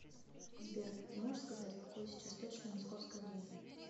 сбер а ты можешь сказать какое сейчас точное московское время